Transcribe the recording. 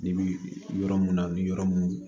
Ne bi yɔrɔ mun na ni yɔrɔ mun